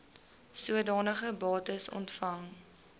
sodanige bates ontvang